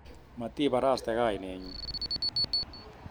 Matibaraste kainenyun